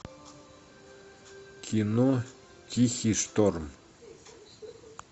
кино тихий шторм